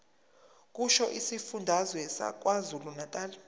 kusho isifundazwe sakwazulunatali